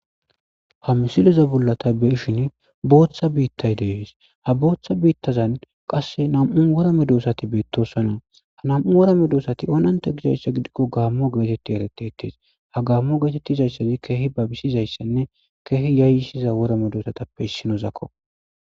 Ha misileza bolla tha be7ishini booththa biiththay de7ees; ha booththa biiththazan qasse nam7u wora medoosathi beeththoosona; ha nam7u wora medoosathi oonanththa gizayssa gidikko gaammo geetheththi ereththeththees; ha gaammo geetettizayssathi keehi babisizayssanne keehi yaayyissiza wora medoosathappe issinozakko.